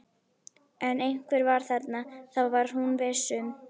En einhver var þarna, það var hún viss um.